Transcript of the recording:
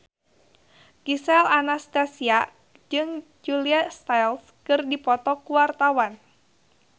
Gisel Anastasia jeung Julia Stiles keur dipoto ku wartawan